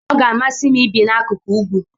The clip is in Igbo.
Ọ ga-amasị m ibi n'akụkụ ugwu.